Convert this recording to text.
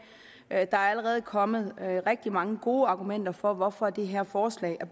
er allerede kommet rigtig mange gode argumenter for hvorfor det her forslag